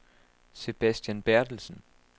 Sebastian Bertelsen